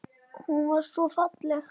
Hún var svo falleg.